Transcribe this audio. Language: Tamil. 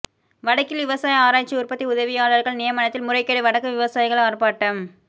வடக்கில் விவசாய ஆராய்ச்சி உற்பத்தி உதவியாளர்கள் நியமனத்தில் முறைகேடு வடக்கு விவசாயிகள் ஆர்ப்பாட்டம்